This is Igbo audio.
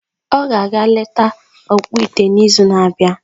Ọ ga-aga eleta ọkpụite n’izu na-abịa.